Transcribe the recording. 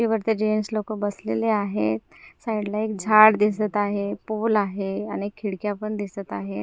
हे वरती जेन्ट्स लोकं बसलेले आहेत. साईड ला एक झाडं दिसतं आहे. पोल आहे आणि खिडक्या पण दिसतं आहेत.